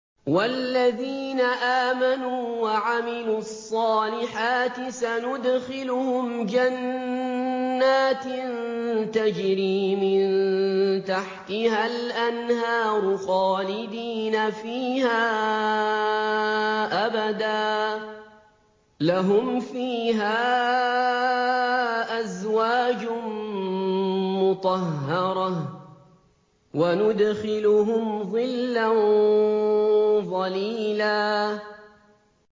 وَالَّذِينَ آمَنُوا وَعَمِلُوا الصَّالِحَاتِ سَنُدْخِلُهُمْ جَنَّاتٍ تَجْرِي مِن تَحْتِهَا الْأَنْهَارُ خَالِدِينَ فِيهَا أَبَدًا ۖ لَّهُمْ فِيهَا أَزْوَاجٌ مُّطَهَّرَةٌ ۖ وَنُدْخِلُهُمْ ظِلًّا ظَلِيلًا